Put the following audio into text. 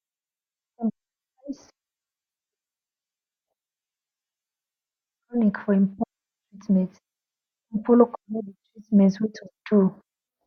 dem de advice sick people to go clinic for important treatment make dem follow collect de treatment wey de to do